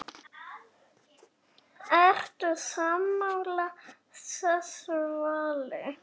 Ertu sammála þessu vali?